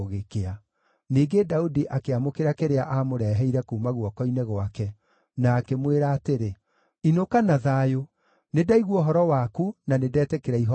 Ningĩ Daudi akĩamũkĩra kĩrĩa aamũreheire kuuma guoko-inĩ gwake, na akĩmwĩra atĩrĩ, “Inũka na thayũ. Nĩndaigua ũhoro waku na nĩndetĩkĩra ihooya rĩaku.”